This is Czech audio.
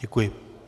Děkuji.